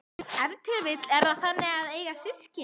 Ef til vill er það þannig að eiga systkin?